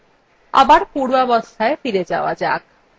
আবার পূর্বাবস্থায় ফিরে যাওয়া যাক